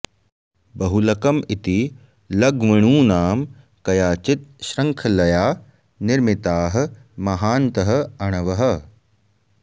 बहुलकम् इति लघ्वणूनां कयाचित् शृङ्खलया निर्मिताः महान्तः अणवः